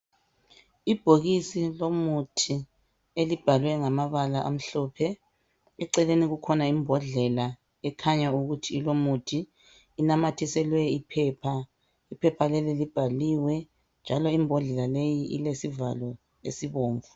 Ibhokisi lomuthi elibhalwe ngamabala amhlophe, eceleni kukhona imbodlela ekhanya ukuthi ilomuthi. Inamathiselwe iphepha, iphepha leli libhaliwe njalo ibhodlela leyi ilesivalo esibomvu